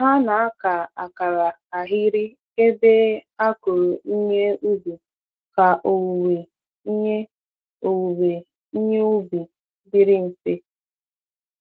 Ha na-aka akara ahịrị ebe a kụrụ ihe ubi ka owuwe ihe owuwe ihe ubi dịrị mfe.